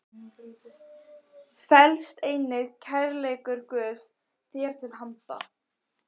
felst einnig kærleikur Guðs þér til handa.